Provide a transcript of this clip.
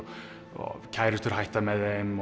og kærustur hætta með þeim